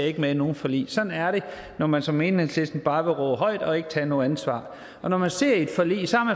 ikke med i nogen forlig sådan er det når man som enhedslisten bare vil råbe højt og ikke tage noget ansvar når man sidder i et forlig